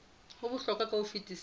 ho bohlokwa ka ho fetisisa